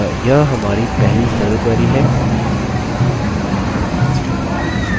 अतः यह हमारी पहली सरल query है